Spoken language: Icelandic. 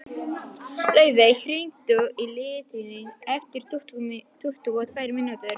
Laufey, hringdu í Ingiríði eftir tuttugu og tvær mínútur.